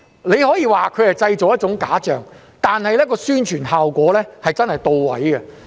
你可以說它是製造了一種假象，但其宣傳效果確實是到位的。